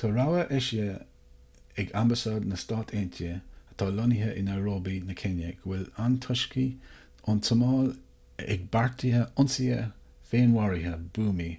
tá rabhadh eisithe ag ambasáid na stát aontaithe atá lonnaithe i nairobi na céinia go bhfuil antoiscigh ón tsomáil ag beartú ionsaithe féinmharaithe buamaí